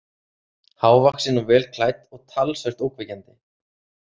Hávaxin og vel klædd og talsvert ógnvekjandi.